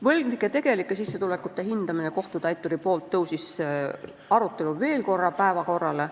Võlgnike tegelike sissetulekute hindamine kohtutäituri poolt tõusis arutelul veel korra päevakorrale.